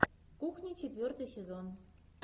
кухня четвертый сезон